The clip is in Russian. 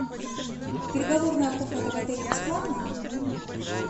переговорная комната в отеле бесплатна